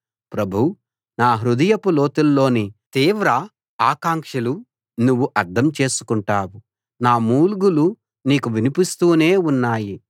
ప్రభూ నా హృదయపు లోతుల్లోని తీవ్ర ఆకాంక్షలు నువ్వు అర్థం చేసుకుంటావు నా మూల్గులు నీకు వినిపిస్తూనే ఉన్నాయి